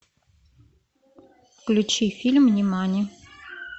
включи фильм нимани